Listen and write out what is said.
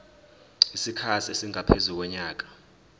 isikhathi esingaphezu konyaka